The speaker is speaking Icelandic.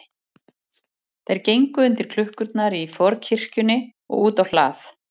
Þeir gengu undir klukkurnar í forkirkjunni og út á hlað.